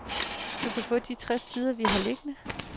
Du kan få de tres sider vi har liggende.